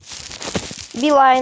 билайн